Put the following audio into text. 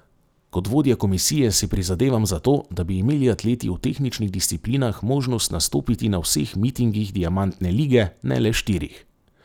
Kot vodja komisije si prizadevam za to, da bi imeli atleti v tehničnih disciplinah možnost nastopiti na vseh mitingih diamantne lige, ne le štirih.